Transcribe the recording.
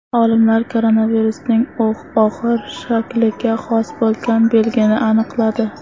Olimlar koronavirusning og‘ir shakliga xos bo‘lgan belgini aniqladi.